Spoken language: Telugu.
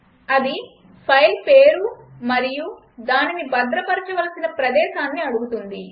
అది ఫైల్ పేరు మరియు దానిని భద్రపరచవలసిన ప్రదేశాన్ని అడుగుతుంది